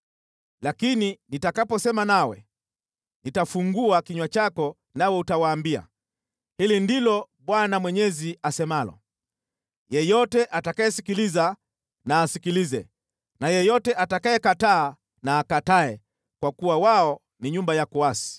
Lakini nitakaposema nawe, nitafungua kinywa chako nawe utawaambia, ‘Hili ndilo Bwana Mwenyezi asemalo.’ Yeyote atakayesikiliza na asikilize, na yeyote atakayekataa na akatae; kwa kuwa wao ni nyumba ya kuasi.